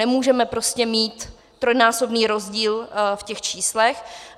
Nemůžeme prostě mít trojnásobný rozdíl v těch číslech.